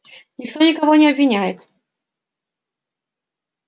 никто никого не обвиняет